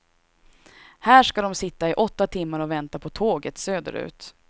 Här ska de sitta i åtta timmar och vänta på tåget söderut.